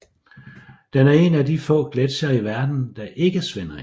Den er en af de få gletsjere i verden der ikke svinder ind